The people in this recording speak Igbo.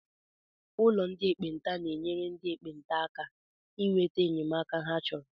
Ụkọ ndị ekpenta na-enyere ndị ekpenta aka inweta enyemaka hé chọrọ.